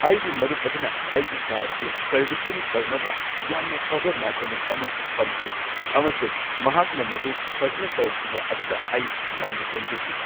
ꯑꯩꯒꯤ ꯃꯔꯨꯞ ꯑꯗꯨꯅ ꯑꯩꯒꯤ ꯀꯥꯔ ꯑꯗꯨ ꯁꯔꯚꯤꯁꯤꯡ ꯇꯧꯅꯕ ꯌꯥꯝꯅ ꯐꯕ ꯃꯦꯀꯥꯅꯤꯛ ꯑꯃ ꯐꯪꯈꯤ ꯑꯃꯁꯨꯡ ꯃꯍꯥꯛꯅ ꯃꯗꯨ ꯐꯖꯅ ꯇꯧꯈꯤꯕ ꯑꯗꯨꯗ ꯑꯩ ꯌꯥꯝꯅ ꯄꯦꯟꯖꯈꯤ꯫